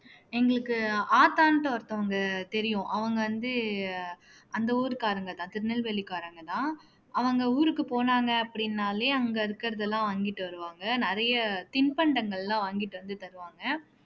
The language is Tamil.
எங்களுக்கு ஆத்தான்னுட்டு ஒருத்தவங்க தெரியும் அவங்க வந்து அந்த ஊர்க்காரங்கதான் திருநெல்வேலிக்காரங்க தான் அவங்க ஊருக்கு போனாங்க அப்படினாலே அங்கே இருக்கிறதெல்லாம் வாங்கிட்டு வருவாங்க நிறைய தின்பண்டங்கள் எல்லாம் வாங்கிட்டு வந்து தருவாங்க